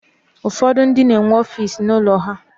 Ụfọdụ ndị na-enwe ọfiisi n'ụlọ ha.